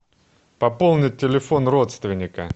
пополнить телефон родственника